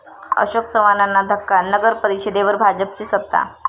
अशोक चव्हाणांना धक्का, नगरपरिषदेवर भाजपची सत्ता